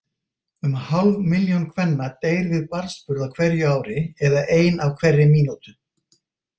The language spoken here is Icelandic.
Um hálf milljón kvenna deyr við barnsburð á hverju ári, eða ein á hverri mínútu.